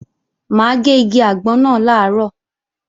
Mà á gé igi àgbọn náà làárọ̀